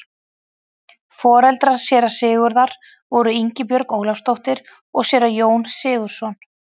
foreldrar séra sigurðar voru ingibjörg ólafsdóttir og séra jón sigurðsson